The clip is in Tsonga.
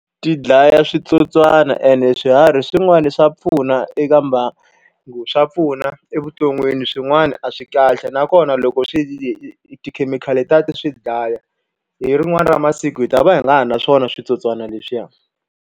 Ti dlaya switsotswana and swiharhi swin'wana swa pfuna eka mbangu. swa pfuna evuton'wini swin'wana a swi kahle, nakona loko swi tikhemikhali letiya ti swi dlaya hi rin'wana ra masiku hi ta va hi nga ha naswona switsotswana leswiya.